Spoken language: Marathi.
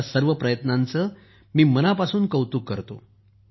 अशा सर्व प्रयत्नांचे मी मनापासून कौतुक करतो